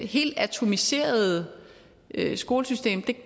helt atomiserede skolesystem er